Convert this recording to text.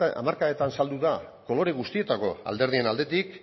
hamarkadetan saldu da kolore guztietako alderdien aldetik